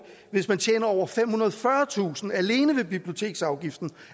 hvis man tjener over femhundrede og fyrretusind kroner alene ved biblioteksafgiften